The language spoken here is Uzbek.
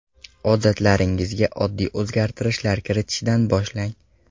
Odatlaringizga oddiy o‘zgartirishlar kiritishdan boshlang.